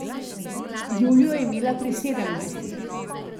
Julijo je imela pri sedemnajstih.